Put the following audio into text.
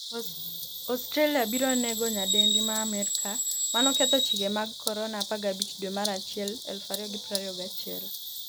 Australia biro nego nyadendi ma Amerka manoketho chike mag Corona' 15 dwe mar achiel 2021